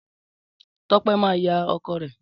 Tọ́pẹ́ máa yá ọkọ̀ rẹ